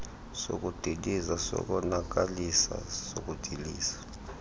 sokudiliza sokonakalisa sokudiliza